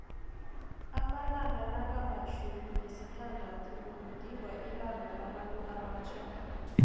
amalanga nakamtjhumi nesithandathu kugidingwa ilanga labantuabatjha